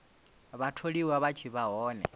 vhatholiwa vha tshi vha hone